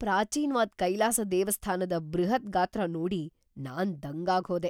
ಪ್ರಾಚೀನ್ವಾದ್ ಕೈಲಾಸ ದೇವಸ್ಥಾನದ ಬೃಹತ್‌ ಗಾತ್ರ ನೋಡಿ ನಾನ್‌ ದಂಗಾಗ್‌ ಹೋದೆ!